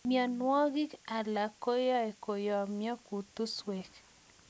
Mianwagik alak koae koyamya kutusweek